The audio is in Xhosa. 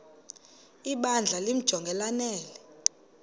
ibandla limjonge lanele